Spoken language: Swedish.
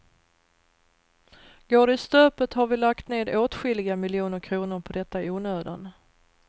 Går det i stöpet har vi lagt ned åtskilliga miljoner kronor på detta i onödan.